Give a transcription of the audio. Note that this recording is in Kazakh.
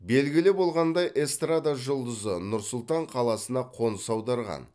белгілі болғандай эстрада жұлдызы нұр сұлтан қаласына қоныс аударған